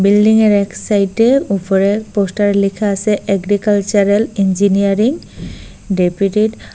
বিল্ডিংয়ের এক সাইটে ওপরে পোস্টারে লেখা আসে এগ্রিকালচারাল ইঞ্জিনিয়ারিং ডেপুটি ট --